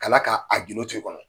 Kala ka, a gidon tu i kɔnɔ